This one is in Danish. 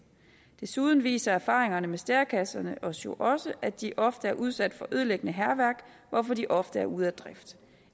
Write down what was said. desuden viser erfaringerne med stærekasserne os jo også at de ofte er udsat for ødelæggende hærværk hvorfor de ofte er ude af drift